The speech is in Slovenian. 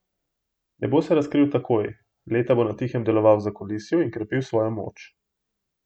Ne bo se razkril takoj, leta bo na tihem deloval v zakulisju in krepil svojo moč.